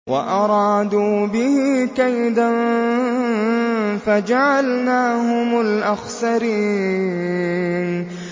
وَأَرَادُوا بِهِ كَيْدًا فَجَعَلْنَاهُمُ الْأَخْسَرِينَ